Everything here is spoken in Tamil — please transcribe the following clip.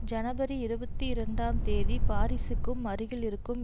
ஜனவரி இருபத்தி இரண்டாம் தேதி பாரிஸுக்கு அருகில் இருக்கும்